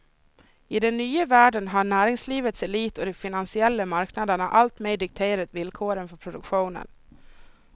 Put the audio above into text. I den nya världen har näringslivets elit och de finansiella marknaderna alltmer dikterat villkoren för produktionen.